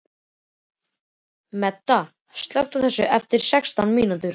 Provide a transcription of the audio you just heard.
Meda, slökktu á þessu eftir sextán mínútur.